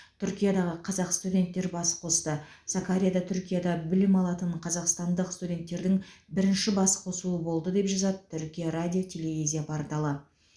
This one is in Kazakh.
түркиядағы қазақ студенттер бас қосты сакарияда түркияда білім алатын қазақстандық студенттердің бірінші бас қосуы болды деп жазады түркия радио телевизия порталы